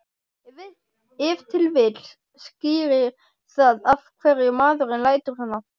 Ef til vill skýrir það af hverju maðurinn lætur svona.